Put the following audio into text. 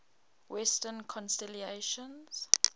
western constellations